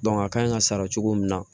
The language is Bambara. a kan ka sara cogo min na